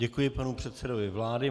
Děkuji panu předsedovi vlády.